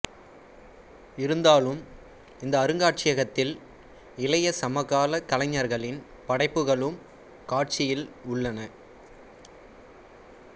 இருந்தாலும் இந்த அருங்காட்சியகத்தில் இளைய சமகால கலைஞர்களின் படைப்புகளும் காட்சியில் உள்ளன